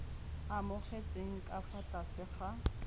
amogetsweng ka fa tlase ga